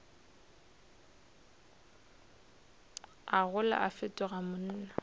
a gola a fetoga monna